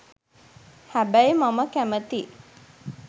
හැබැයි මම කැමති